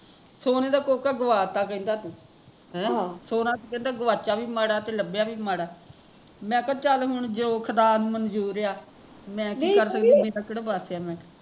ਸੋਨੇ ਦਾ ਕੋਕਾ ਗਵਾਤਾ ਕਹਿੰਦਾ ਤੂ ਹੈਂ ਸੋਨਾ ਕਹਿੰਦਾ ਗੁਆਚਿਆ ਵੀ ਮਾੜਾ ਤੇ ਲੱਭਿਆ ਵੀ ਮਾੜਾ ਮੈਂ ਕਿਹਾ ਚੱਲ ਹੁਣ ਜੋ ਖੁਦਾ ਨੂ ਮਨਜ਼ੂਰ ਆ ਮੈਂ ਕੀ ਕਰਦੀ ਮੇਰਾ ਕਿਹੜਾ ਵਸ ਆ ਮੈਂ ਕਿਹਾ